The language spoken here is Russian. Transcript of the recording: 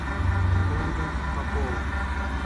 ольга попова